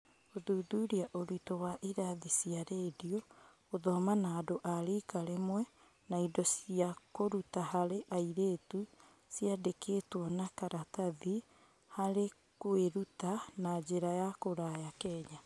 Gũthuthuria ũritu wa irathi cia rendio, gũthoma na andũ a rika rĩmwe na indo cia kũruta harĩ airĩtu ciandĩkĩtwo na karatathi harĩ kũĩruta na njĩra ya kũraya Kenya.